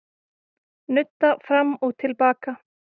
Nudda fram og til baka.